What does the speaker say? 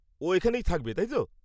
ও এখানেই থাকবে, তাই তো?